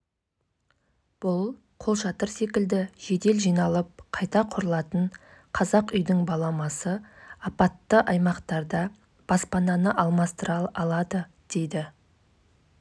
халықаралық олимпиада комитеті ұлттық олимпиада комитетіне ағзасынан тиым салынған препараттың табылуымен олимпиада ойындарының және жылдардағы қатысушысы